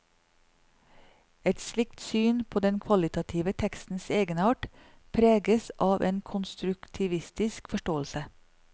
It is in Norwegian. Et slikt syn på den kvalitative tekstens egenart preges av en konstruktivistisk forståelse.